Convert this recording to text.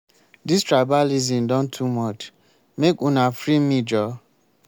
dis tribalism don too much. make una free me joor.